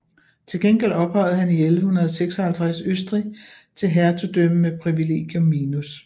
Til gengæld ophøjede han i 1156 Østrig til hertugdømme med Privilegium minus